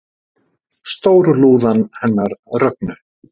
Stórlúðan hennar Rögnu